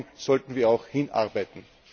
Und darauf sollten wir auch hinarbeiten!